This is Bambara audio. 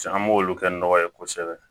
An b'olu kɛ nɔgɔ ye kosɛbɛ